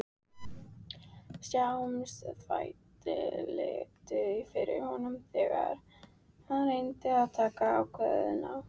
Sársaukinn þvældist fyrir honum þegar hann reyndi að taka ákvarðanir.